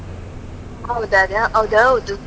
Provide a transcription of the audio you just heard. ಹೌದು ಅದೇ, ಅದೌದು.